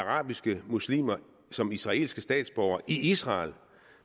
arabiske muslimer som israelske statsborgere i israel